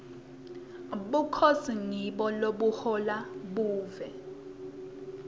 bukhosi ngibo lobuhola live